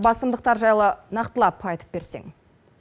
басымдықтар жайлы нақтылап айып берсең